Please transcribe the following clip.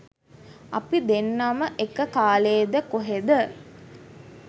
අපි දෙන්නම එක කාලෙද කොහෙද